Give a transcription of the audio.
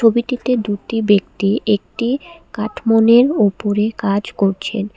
ছবিটিতে দুটি ব্যক্তি একটি কাঠমুনের ওপরে কাজ করছেন।